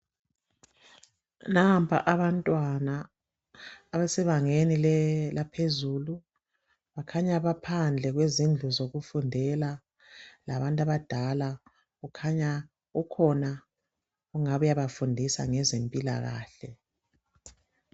Nampa abantwana abasebangeni laphezulu kukhanya baphandle kwezindlu zokufundela labantu abadala kukhanya ukhona ongabe uyabafundisa ngezempilakahle.